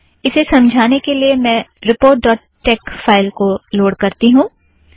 इसे समझाने के लिए मैं रीपोर्ट डॉट टेक फ़ाइल को लोड़ करती हूँ